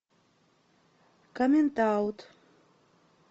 коммент аут